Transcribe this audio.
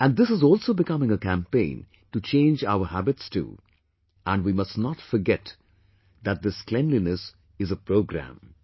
And this is also becoming a campaign to change our habits too and we must not forget that this cleanliness is a programme